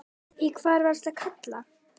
Í hvern varstu að kalla?